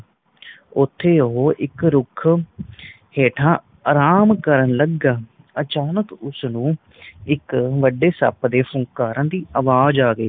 ਉਤੇ ਓਹੋ ਇਕ ਰੁੱਖ ਹੇਠਾ ਅਰਾਮ ਕਰਨ ਲੱਗਾ ਅਚਾਨਕ ਉਸ ਨੂੰ ਇੱਕ ਵਡੇ ਸੱਪ ਦੇ ਫੁੰਕਾਰਾ ਦੀ ਆਵਾਜ਼ ਆ ਗਈ